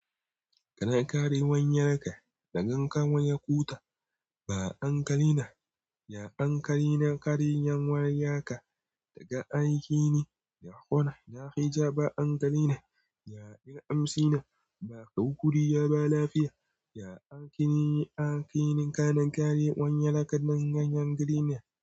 Kanakari wanyaraka na gankawa ya kuta ba ankarina. Ya ankarina kare yan wari yaka daga aiki ne da kona. Da hijaba ankarina ya bin amsina ba kau kuriya ba lafiya. Ya ankini aiki nin kanakare wanyaraka nan ganyar green na.